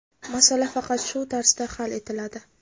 Masala faqat shu tarzda hal etiladi.